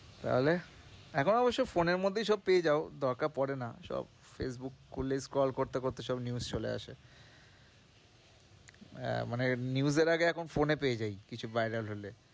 তাহলে এখন অবশ্য phone এর মধ্যেই সব পেয়ে যাও দরকার পরে না সব, ফেইসবুক খুললেই scroll করতে করতে সব news চলে আসে মানে news এর আগে এখন phone এ পেয়ে যাই, কিছু viral হলে